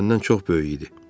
O məndən çox böyük idi.